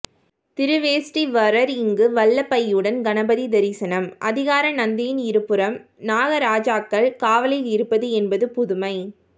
திருவேட்டீஸ்வரர் இங்கு வல்லபையுடன் கணபதி தரிசனம் அதிகார நந்தியின் இருபுறம் நாகராஜாக்கள் காவலில் இருப்பது என்பது புதுமை